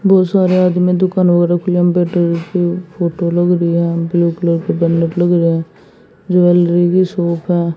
बहोत सारे आदमी दुकान वालो के लंबे फोटो लग रही है की लग रही है ज्वेलरी की शॉप है।